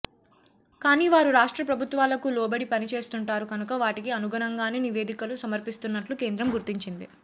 కానీ వారు రాష్ట్ర ప్రభుత్వాలకు లోబడి పనిచేస్తుంటారు కనుక వాటికి అనుగుణంగానే నివేదికలు సమర్పిస్తున్నట్లు కేంద్రం గుర్తించింది